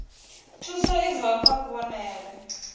thuso i bvaho kha kuvhonele